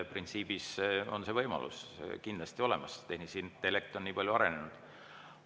Printsiibis on see võimalus kindlasti olemas, tehisintellekt on nii palju arenenud.